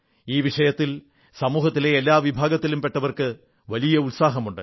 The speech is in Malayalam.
ഈ വിഷയത്തിൽ സമൂഹത്തിലെ എല്ലാ വിഭാഗത്തിലും പെട്ടവർക്ക് വലിയ ഉത്സാഹമുണ്ട്